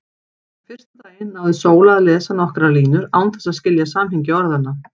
Fyrsta daginn náði Sóla að lesa nokkrar línur án þess að skilja samhengi orðanna.